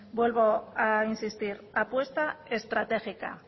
vuelvo a insistir apuesta estratégica